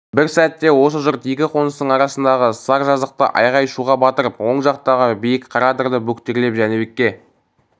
бір сәтте осы жұрт екі қоныстың арасындағы сар жазықты айғай-шуға батырып оң жақтағы биік қара адырды бөктерлеп жәнібекке